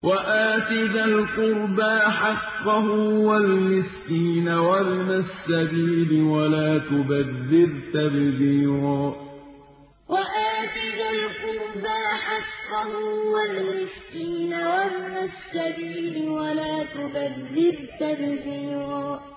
وَآتِ ذَا الْقُرْبَىٰ حَقَّهُ وَالْمِسْكِينَ وَابْنَ السَّبِيلِ وَلَا تُبَذِّرْ تَبْذِيرًا وَآتِ ذَا الْقُرْبَىٰ حَقَّهُ وَالْمِسْكِينَ وَابْنَ السَّبِيلِ وَلَا تُبَذِّرْ تَبْذِيرًا